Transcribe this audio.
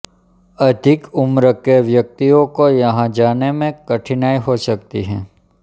अधिक उम्र के व्यक्तियों को यहां जाने में कठिनाई हो सकती है